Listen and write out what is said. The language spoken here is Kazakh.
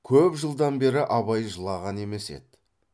көп жылдан бері абай жылаған емес еді